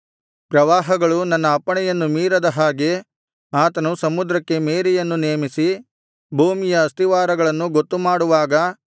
ಪ್ರವಾಹಗಳು ತನ್ನ ಅಪ್ಪಣೆಯನ್ನು ಮೀರದ ಹಾಗೆ ಆತನು ಸಮುದ್ರಕ್ಕೆ ಮೇರೆಯನ್ನು ನೇಮಿಸಿ ಭೂಮಿಯ ಅಸ್ತಿವಾರಗಳನ್ನು ಗೊತ್ತುಮಾಡುವಾಗ